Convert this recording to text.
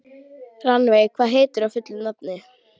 Rannveig, hvað heitir þú fullu nafni?